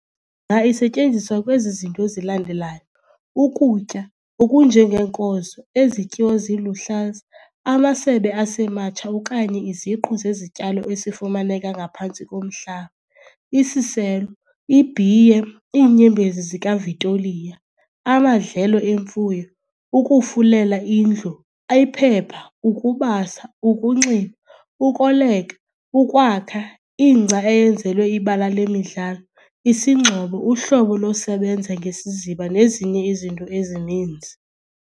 isetyenziswa kwezi zinto zilandelayo ukutya okunje ngeenkozo, ezityiwa ziluhlaza, amasebe asematsha okanye iziqu zezityalo esifumaneka ngaphantsi komhlaba, isiselo ibhiye, iinyembezi zikaVitoliya, amadlelo emfuyo, ukufulelea indlu, iphepha, ukubasa, ukunxiba, ukoleka, ukwakha, ingca eyenzelwe ibala lemidlalo, isingxobo uhlobo losebenza ngesiziba nezinye izinto ezininzi.